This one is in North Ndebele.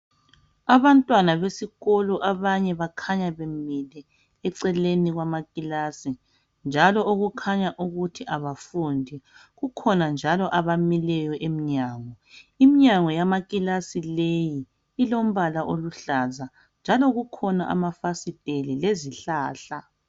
Abantwana besikolo abanye bakhanya bemile eceleni kwamakilasi njalo okukhanya ukuthi abafundi. Kukhona njalo abamileyo emnyango. Iminyango yamakilasi leyi ilombala oluhlaza njalo kukhona amafasiteli lezihlahla.